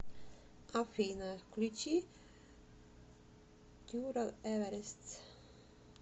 афина включи турал эверест